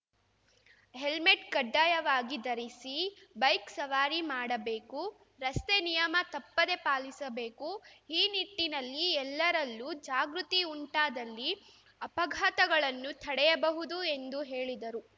helmet ಕಡ್ಡಾಯವಾಗಿ ಧರಿಸಿ bike ಸವಾರಿ ಮಾಡಬೇಕು ರಸ್ತೆ ನಿಯಮ ತಪ್ಪದೇ ಪಾಲಿಸಬೇಕು ಈ ನಿಟ್ಟಿನಲ್ಲಿ ಎಲ್ಲರಲ್ಲೂ ಜಾಗೃತಿ ಉಂಟಾದಲ್ಲಿ ಅಪಘಾತಗಳನ್ನು ತಡೆಬಹುದು ಎಂದು ಹೇಳಿದರು